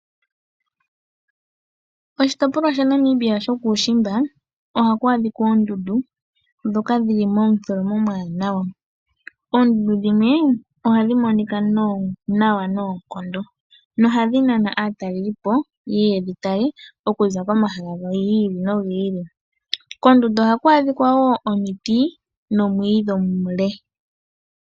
Oshitopolwa sha Namibia shokuushimba ohaku adhika oondundu ndhoka dhili momutholomo omuwanawa. Oondundu dhimwe ohadhi monika nawa noonkondo nohadhi nana aatalelipo yedhi tale okuza komahala gi ili oku ili. Koondundu ohaku adhika woo omiti nomwiidhi omule.